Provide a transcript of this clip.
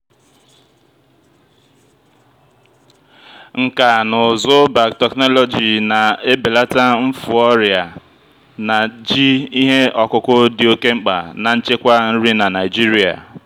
nkà na ụzụ biotechnology na-ebelata mfu ọrịa na ji ihe ọkụkụ dị oke mkpa na nchekwa nri na nigeria.